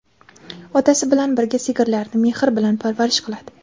Otasi bilan birga sigirlarini mehr bilan parvarish qiladi.